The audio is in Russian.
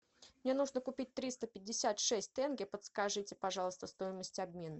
мне нужно купить триста пятьдесят шесть тенге подскажите пожалуйста стоимость обмена